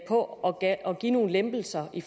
på at give nogle lempelser i